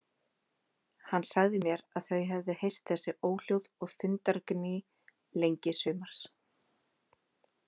Hann sagði mér að þau hefðu heyrt þessi óhljóð og þundargný lengi sumars.